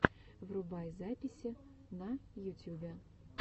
врубай записи на ютюбе